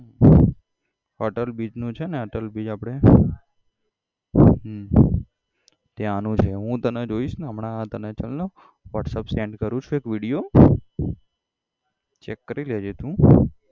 Atal bridge નું છે ને અટલ bridge આપડે હમ ત્યાં નું છે હું તને જોઇસ ને હમણાં તને ચલને whatsapp send કરું છું એક video check કરી લેજે તું